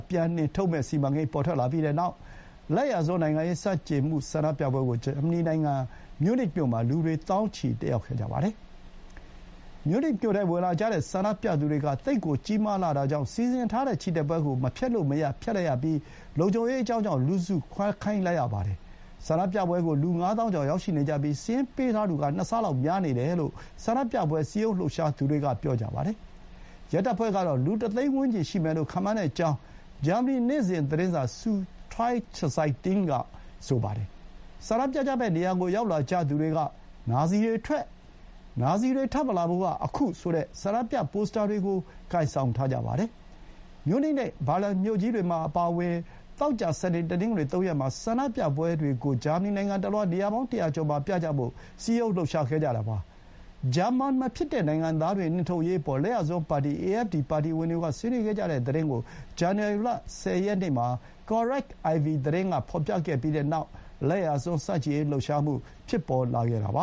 ပြန်နှင်ထုတ်မယ့်စီမံကိန်း ပေါ်ထွက်လာပြီးတဲ့နောက် လကျ်ာစွန်းနိုင်ငံရေးဆန့်ကျင်မှု ဆန္ဒပြပွဲကို ဂျာမနီနိုင်ငံ မြူးနစ်မြို့မှာ လူတွေ သောင်းချီတက်ရောက်ခဲ့ကြပါတယ်။ မြူးနစ်မြို့ထဲဝင်လာကြတဲ့ဆန္ဒပြသူတွေက သိပ်ကို ကြီးမားလှတာကြောင့် စီစဥ်ထားတဲ့ချီတက်ပွဲကို မဖျက်လို့မရ ဖျက်လိုက်ရပြီး လုံခြုံရေးအကြောင်းကြောင့် လူစုခွဲခိုင်းလိုက်ရပါတယ်။ ဆန္ဒပြပွဲကို လူ ငါးသောင်းကျော် ရောက်ရှိနေကြပြီး စာရင်းပေးထားသူက ၂ ဆလောက်များနေတယ်လို့ ဆန္ဒပြပွဲစည်းရုံးလှုပ်ရှားသူတွေက ပြောပါတယ်။ ရဲတပ်ဖွဲ့ကတော့ လူ တသိန်းဝန်းကျင်ရှိမယ်လို့ ခန့်မှန်းကြောင်း ဂျာမနီနေ့စဥ်သတင်းစာ ဆူဒွိုင်းချဇိုက်တင်း (Sueddeutsche Zeitung) က ဆိုပါတယ်။ ဆန္ဒပြကြမယ့်နေရာကို ရောက်လာကြသူတွေက “နာဇီတွေ ထွက်၊” “နာဇီတွေ ထပ်မလာဖို့ က ခု” ဆိုတဲ့ ဆန္ဒပြ ပိုစတာတွေကို ကိုင်ထားကြပါတယ်။ မြူးနစ်နဲ့ ဘာလင်မြို့ကြီးတွေအပါအဝင် သောကြာ၊ စနေ၊ တနင်္ဂနွေသုံးရက်မှာ ဆန္ဒပြပွဲတွေကို ဂျာမနီ နိုင်ငံတလွှား နေရာပေါင်း ၁၀၀ ကျော်မှာ ပြကြဖို့ စည်းရုံးခဲ့ကြတာပါ။ ဂျာမန်မဖြစ်တဲ့နိုင်ငံသားတွေကို နှင်ထုတ်ရေးအပေါ် လက်ျာစွန်းပါတီ AfD ပါတီဝင်တွေက ဆွေးနွေးခဲ့ကြတဲ့သတင်းကို ဇန္နဝါရီလ ၁၀ ရက်နေ့မှာ Correctiv သတင်းက ဖော်ပြခဲ့ပြီးတဲ့နောက် လက်ျာစွန်းဆန့်ကျင်ရေး လှုပ်ရှားမှု ဖြစ်ပေါ်လာခဲ့တာပ